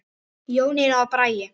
Jónína og Bragi.